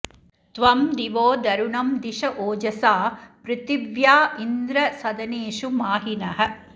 त्वं दिवो धरुणं धिष ओजसा पृथिव्या इन्द्र सदनेषु माहिनः